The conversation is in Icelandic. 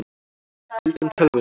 Deildu um tölvuna